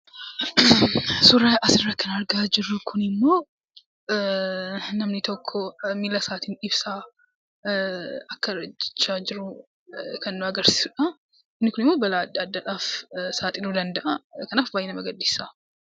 Suuraan asirratti argaa jirru kun immoo, namni tokko miila isaatiin ibsaa akka hin ejjechaa jiru kan nu agarsiisuudha. Inni kun immoo balaa adda addaadhaaf saaxiluu danda'a. Kanaaf baay'ee nama gaddisiisa.